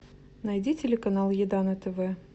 найди телеканал еда на тв